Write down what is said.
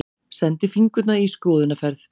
Sendi fingurna í skoðunarferð.